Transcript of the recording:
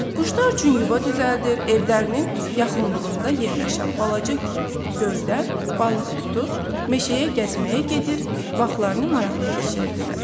Quşlar üçün yuva düzəldir, evlərinin yaxınlığında yerləşən balaca göldən balıq tutur, meşəyə gəzməyə gedir, vaxtlarını maraqlı keçirirdilər.